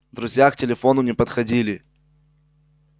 друзья к телефону не подходили